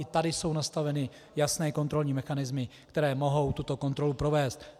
I tady jsou nastaveny jasné kontrolní mechanismy, které mohou tuto kontrolu provést.